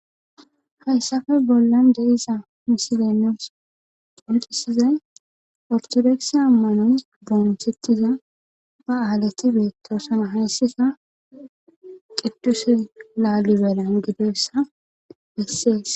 Hayssafe bollan de'iza misilenos qontisizay ortodoksa ammano bonchettiza ba aalati beettosana hayssisa qidduse laalibelan gideessa bessees.